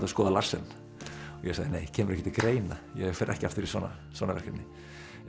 að skoða Larsen og ég sagði nei kemur ekki til greina ég fer ekki aftur í svona svona verkefni